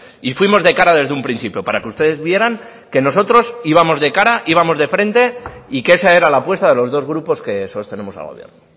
y fuimos de cara desde un principio para que ustedes vieran que nosotros íbamos de cara íbamos de frente y que esa era la apuesta de los dos grupos que sostenemos al gobierno